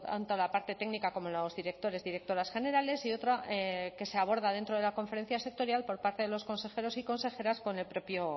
tanto la parte técnica como los directores y las directoras generales y otra que se aborda dentro de la conferencia sectorial por parte de los consejeros y consejeras con el propio